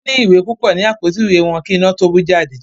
Wón ní ìwé púpọ ní Àpótí ìwé wón kí iná tó bú jáde